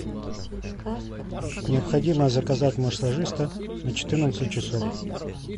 необходимо заказать массажиста на четырнадцать часов